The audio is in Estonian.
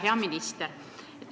Hea minister!